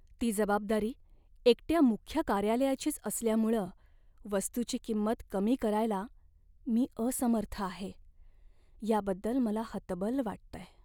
ती जबाबदारी एकट्या मुख्य कार्यालयाचीच असल्यामुळं वस्तूची किंमत कमी करायला मी असमर्थ आहे, याबद्दल मला हतबल वाटतंय.